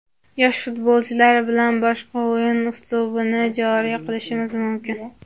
Yosh futbolchilar bilan boshqa o‘yin uslubini joriy qilishimiz mumkin.